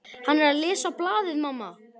Hann er að lesa blaðið, mamma!